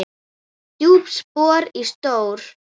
Djúp spor og stór.